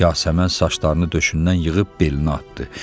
Yasəmən saçlarını döşündən yığıb belinə atdı.